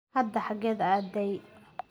Hadda xageed aaday?